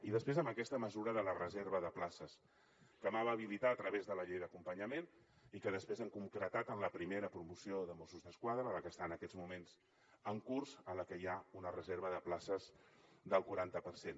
i després amb aquesta mesura de la reserva de places que vam habilitar a través de la llei d’acompanyament i que després hem concretat en la primera promoció de mossos d’esquadra la que està en aquests moments en curs en la que hi ha una reserva de places del quaranta per cent